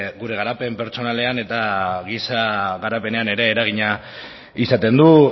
gure garapen pertsonalean eta gisa garapenean ere eragina izaten du